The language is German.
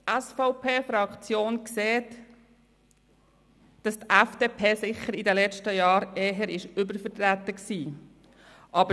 Die SVP-Fraktion sieht, dass die FDP in den letzten Jahren eher übervertreten war.